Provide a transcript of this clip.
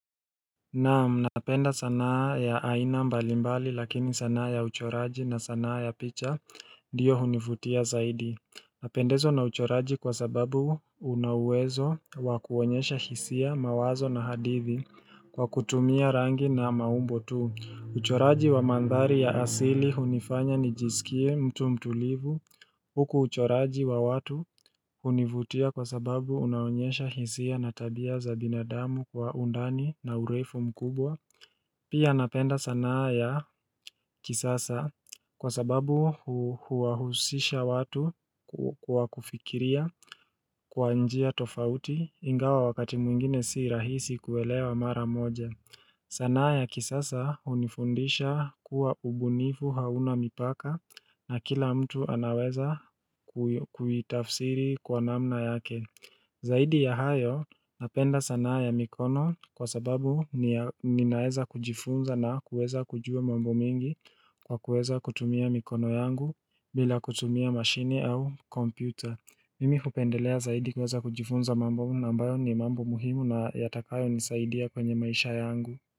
Naam, napenda sanaa ya aina mbalimbali lakini sanaa ya uchoraji na sanaa ya picha ndio hunivutia zaidi Napendezwa na uchoraji kwa sababu unauwezo wakuonyesha hisia mawazo na hadithi kwa kutumia rangi na maumbo tu uchoraji wa mandhari ya asili hunifanya nijisikie mtu mtulivu Huku uchoraji wa watu hunivutia kwa sababu unaonyesha hisia na tabia za binadamu kwa undani na urefu mkubwa Pia napenda sanaa ya kisasa kwa sababu huwahusisha watu kwa kufikiria kwa njia tofauti ingawa wakati mwingine si rahisi kuelewa mara moja sanaa ya kisasa hunifundisha kuwa ubunifu hauna mipaka na kila mtu anaweza kuitafsiri kwa namna yake. Zaidi ya hayo napenda sanaa ya mikono kwa sababu ninaweza kujifunza na kuweza kujua mambo mengi kwa kuweza kutumia mikono yangu bila kutumia mashini au kompyuta. Mimi hupendelea zaidi kuweza kujifunza mambo ambayo ni mambo muhimu na yatakayo nisaidia kwenye maisha yangu.